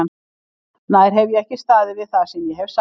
Nær hef ég ekki staðið við það sem ég hef sagt?